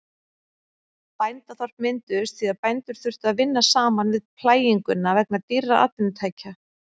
Bændaþorp mynduðust því að bændur þurftu að vinna saman við plæginguna vegna dýrra atvinnutækja.